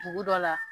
Dugu dɔ la